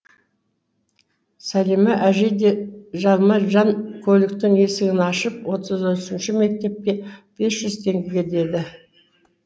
сәлимә әжей де жалма жан көліктің есігін ашып отыз үшінші мектепке бес жүз теңге деді